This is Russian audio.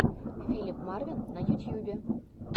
филип марвин в ютьюбе